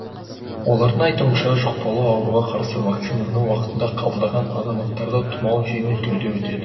олардың айтуынша жұқпалы ауруға қарсы вакцинаны уақытында қабылдаған азаматтарда тұмау жеңіл түрде өтеді